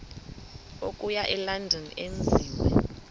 okuya elondon enziwe